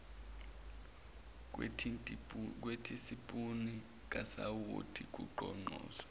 wethisipuni kasawoti kugoqoze